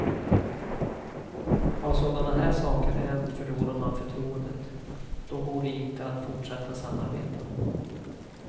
Har sådana här saker hänt förlorar man förtroendet, då går det inte att fortsätta samarbeta.